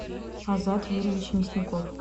азат юрьевич мясников